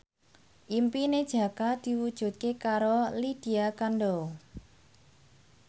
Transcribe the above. impine Jaka diwujudke karo Lydia Kandou